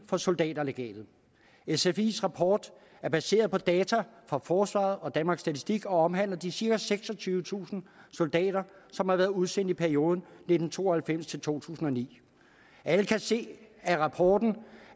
for soldaterlegatet sfis rapport er baseret på data fra forsvaret og danmarks statistik og omhandler de cirka seksogtyvetusind soldater som har været udsendt i perioden nitten to og halvfems til to tusind og ni alle kan se af rapporten